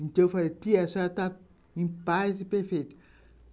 Então eu falei, tia, a senhora está em paz e perfeito.